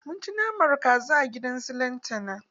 Mun ci naman kaza a gidan su lantana.